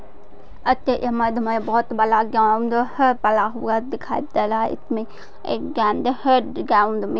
इस इमेज मे बहुत बड़ा ग्राउंड है पड़ा हुआ दिखाई दे रहा है इसमे एक गेंद है ग्राउंड मे --